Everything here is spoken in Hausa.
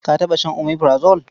Ka taɓa shan omeprazole?